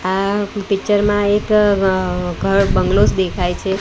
આ પિક્ચર માં એક ગ ઘર બંગ્લોઝ દેખાય છે.